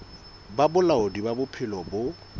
ba bolaodi ba bophelo bo